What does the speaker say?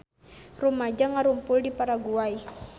Rumaja ngarumpul di Paraguay